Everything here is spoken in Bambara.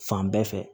Fan bɛɛ fɛ